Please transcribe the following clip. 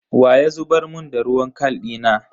Wa ya zubar mun da ruwan kal dina?